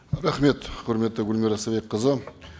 рахмет құрметті гүлмира истайбекқызы